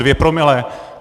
Dvě promile?